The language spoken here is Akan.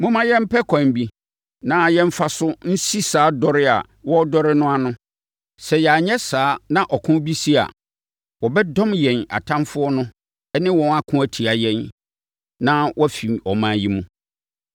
Momma yɛmpɛ ɛkwan bi na yɛmfa so nsi saa dɔre a wɔredɔre no ano. Sɛ yɛanyɛ saa na ɔko bi si a, wɔbɛdɔm yɛn atamfoɔ ne wɔn ako atia yɛn na wɔafiri ɔman yi mu.”